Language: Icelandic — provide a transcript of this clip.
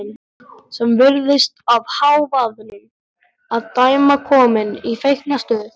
Sem virðist af hávaðanum að dæma komin í feiknastuð.